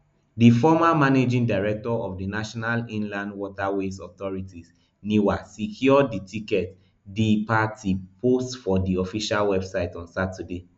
di former managing director of the national inland waterways authority niwa secure di ticket di party post for di official website on saturday